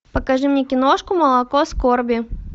покажи мне киношку молоко скорби